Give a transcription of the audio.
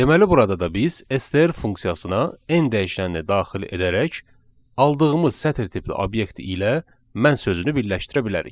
Deməli burada da biz STR funksiyasına n dəyişənini daxil edərək aldığımız sətir tipli obyekt ilə "mən" sözünü birləşdirə bilərik.